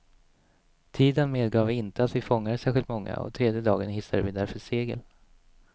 Tiden medgav inte att vi fångade särskilt många, och tredje dagen hissade vi därför segel.